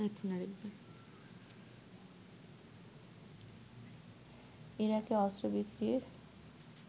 ইরাকে অস্ত্র বিক্রির